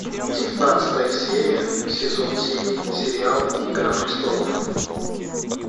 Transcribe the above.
девятнадцатая серия сезон семь сериал игра престолов